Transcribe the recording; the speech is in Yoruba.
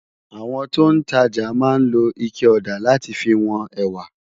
Awòn tó n tàjá má n ló iké òdá làtí fi wón èwá